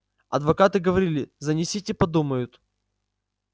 адвокаты говорили занесите подумают